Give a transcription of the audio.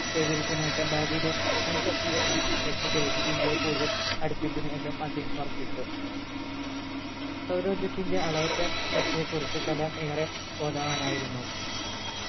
കൈവരിച്ച നേട്ടം ഭാവിയിലെ വൻ ശക്തി എന്ന ലക്ഷ്യത്തിലേക്ക് ഇന്ത്യയെ കൂടുതൽ അടുപ്പിക്കുന്നു എന്നും അദ്ദേഹം ഉറപ്പിച്ചു സൗരോർജത്തിന്റെ അളവറ്റ ശക്തിയെ കുറിച്ച് കലാം ഏറെ ബോധവാനായിരുന്നു